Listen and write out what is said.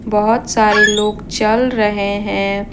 बहोत सारे लोग चल रहे हैं।